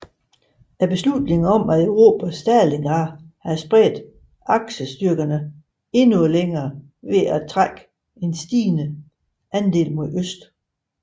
Beslutningen om at erobre Stalingrad havde spredt Aksestyrkerne endnu længere ved at trække en stigende andel mod øst